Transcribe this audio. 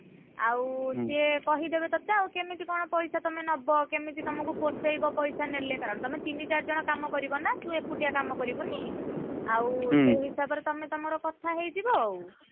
ଆଉ ସିଏ କହିଦେବେ ତତେ ଆଉ କେମିତି କଣ ପଇସା ତମେ ନବ କେମିତି ତମକୁ ପୋଷେଇବ ପଇସା ନେଲେ କାରଣ ତମେ ତିନି ଚାରି ଜଣ କାମ କରିବ ନା ତୁ ଏକୁଟିଆ କାମ କରିବୁନି। ଆଉ ସେହି ହିସାବରେ ତମେ ତମର କଥା ହେଇଯିବ ଆଉ।